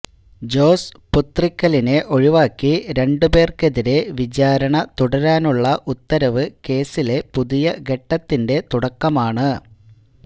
ജോസ് പുത്രിക്കലിനെ ഒഴിവാക്കി രണ്ട് പേർക്കെതിരെ വിചാരണ തുടരാനുള്ള ഉത്തരവ് കേസിലെ പുതിയ ഘട്ടത്തിന്റെ തുടക്കമാണ്